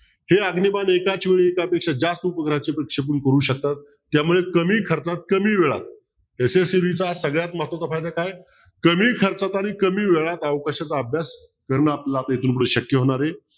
ते अग्निमान एकाच वेळी एका पेक्षा जास्त करू शकतात त्यामुळे कमी खर्चात कमी वेळात यशस्वीरीत्या सगळ्यात महत्वाचा फायदा काय कमी खर्चात आणि कमी वेळात अवकाशाचा अभ्यास करणं आपल्याला इथूनपुढे शक्य होणार आहे